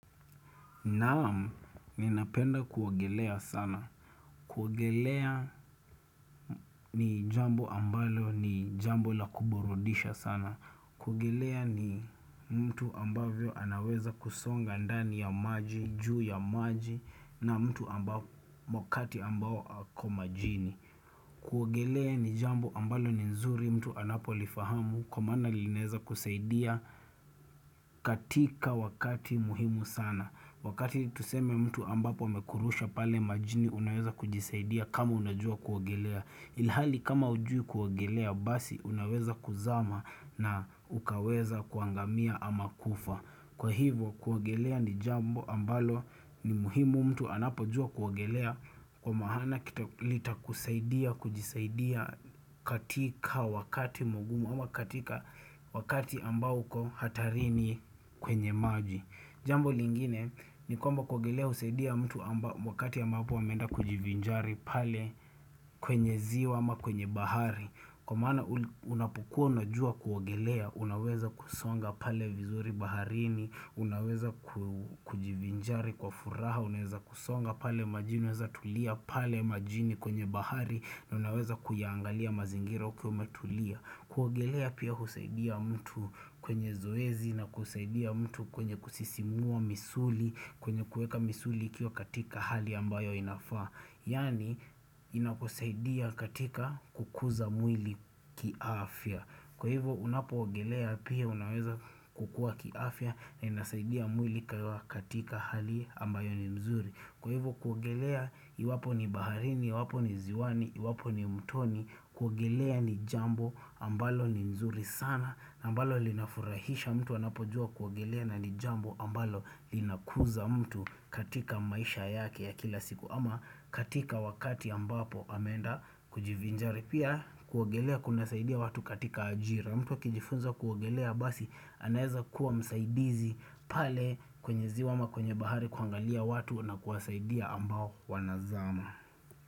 Naam, ninapenda kuogelea sana. Kuogelea ni jambo ambalo ni jambo la kuburudisha sana. Kuogelea ni mtu ambavyo anaweza kusonga ndani ya maji, juu ya maji, na mtu wakati ambao ako majini. Kuogelea ni jambo ambalo ni nzuri mtu anapolifahamu kwa maana linaeza kusaidia katika wakati muhimu sana. Wakati tuseme mtu ambapo amekurusha pale majini unaweza kujisaidia kama unajua kuogelea. Ilhali kama hujui kuogelea basi unaweza kuzama na ukaweza kuangamia ama kufa. Kwa hivyo kuogelea ni jambo ambalo ni muhimu mtu anapojua kuogelea Kwa maana litakusaidia kujisaidia katika wakati mgumu ama katika wakati ambao uko hatarini kwenye maji. Jambo lingine, ni kwamba kuogelea husaidia mtu wakati ya ambapo ameenda kujivinjari pale kwenye ziwa ama kwenye bahari. Kwa maana unapokua unajua kuogelea, unaweza kusonga pale vizuri baharini, unaweza kujivinjari kwa furaha, unaweza kusonga pale majini, unaweza tulia pale majini kwenye bahari na unaweza kuyaangalia mazingira ukiwa umetulia. Kuogelea pia husaidia mtu kwenye zoezi na kusaidia mtu kwenye kusisimua misuli kwenye kuweka misuli ikiwa katika hali ambayo inafaa. Yaani inakusaidia katika kukuza mwili kiafya. Kwa hivyo unapoogelea pia unaweza kukua kiafya na inasaidia mwili katika hali ambayo ni mzuri. Kwa hivyo kuogelea iwapo ni baharini, iwapo ni ziwani, iwapo ni mtoni, kuogelea ni jambo ambalo ni nzuri sana, ambalo linafurahisha mtu anapojua kuogelea na ni jambo ambalo linakuza mtu katika maisha yake ya kila siku. Ama katika wakati ambapo amenda kujivinjari. Pia kuogelea kunasaidia watu katika ajira mtu akijifunza kuogelea basi anaeza kuwa msaidizi pale kwenye ziwa ama kwenye bahari kuangalia watu na kuwasaidia ambao wanazama.